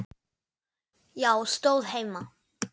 Já, stóð heima!